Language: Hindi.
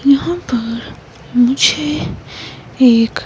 यहां पर मुझे एक--